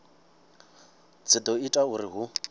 dzi do ita uri hu